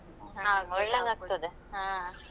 ಒಳ್ಳೇದ್ ಆಗ್ತದೆ.